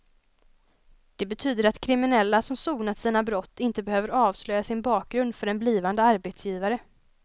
Det betyder att kriminella som sonat sina brott inte behöver avslöja sin bakgrund för en blivande arbetsgivare.